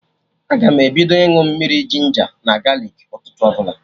Aga m ebido ịñụ mmiri ginja na galik ụtụtụ ọbụla